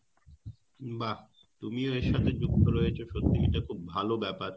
বাহ! তুমিও এর সাথে যুক্ত রয়েছো এটা খুব ভালো ব্যাপার